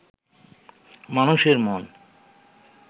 মানুষের মন